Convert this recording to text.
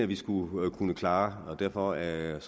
vi skulle kunne klare så derfor er jeg